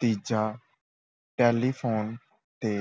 ਤੀਜਾ ਟੈਲੀਫੋਨ ‘ਤੇ